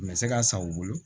U bɛ se ka san u bolo